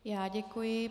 Já děkuji.